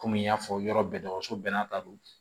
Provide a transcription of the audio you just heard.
Kɔmi n y'a fɔ yɔrɔ bɛɛ tɔgɔ bɛɛ n'a ta don